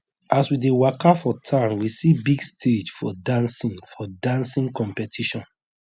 as we dey waka for town we see big stage for dancing for dancing competition